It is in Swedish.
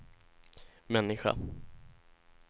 människa